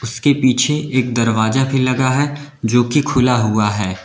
इसके पीछे एक दरवाजा भी लगा है जोकि खुला हुआ है।